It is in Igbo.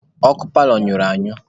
Ọkụ paalọ nyụrụ anyụ.